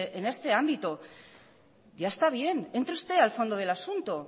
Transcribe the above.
en este ámbito ya está bien entre usted al fondo del asunto